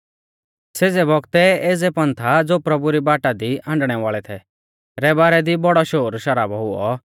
सेज़ै बौगतै एज़ै पंथा ज़ो प्रभु री बाटा दी हाण्डणै वाल़ै थै रै बारै दी बौड़ौ शोरशराबौ हुऔ